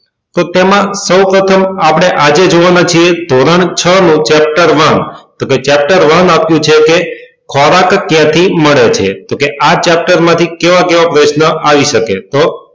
તો તેમાં સૌ પ્રથમ આપડે આજે જોવા ના છીએ ધોરણ છ નું chapter one તો કે chapter one આપ્યું છે કે ખોરાક ક્યાં થી મળે છે તો કે chapter માંથી કેવા કેવા પ્રશ્ન આવી શકે